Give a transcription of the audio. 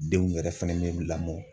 Denw yɛrɛ fɛnɛ bɛ bɛɛ lamɔ